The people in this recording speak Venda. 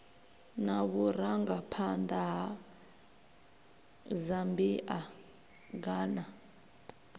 na vhurangaphanḓa ha zambia ghana